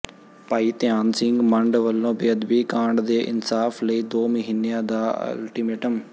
ਭਾਈ ਧਿਆਨ ਸਿੰਘ ਮੰਡ ਵਲੋਂ ਬੇਅਦਬੀ ਕਾਂਡ ਦੇ ਇਨਸਾਫ਼ ਲਈ ਦੋ ਮਹੀਨਿਆਂ ਦਾ ਅਲਟੀਮੇਟਮ